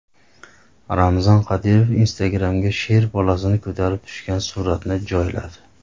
Ramzan Qodirov Instagram’ga sher bolasini ko‘tarib tushgan suratini joyladi.